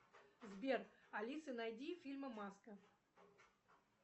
сбер алиса найди фильмы маска